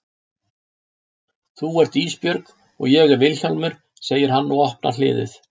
Þú ert Ísbjörg og ég er Vilhjálmur, segir hann og opnar hliðið.